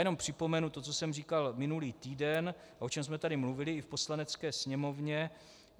Jenom připomenu to, co jsem říkal minulý týden a o čem jsme tady mluvili i v Poslanecké sněmovně.